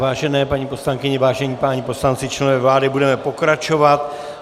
Vážené paní poslankyně, vážení páni poslanci, členové vlády, budeme pokračovat.